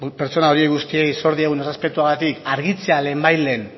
pertsona guzti horiei zor diegun errespetuagatik argitzea lehenbailehen